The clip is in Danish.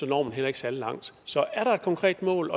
når man heller ikke særlig langt så er der et konkret mål